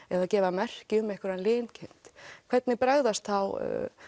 eða gefa merki um einhverja linkind hvernig bregðast þá